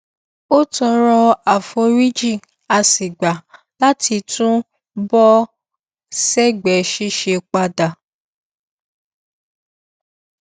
ó tọrọ àforíjì a sì gbà láti tún bọ sẹgbẹ ṣíṣe padà